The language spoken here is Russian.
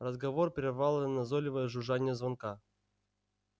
разговор прервало назойливое жужжание звонка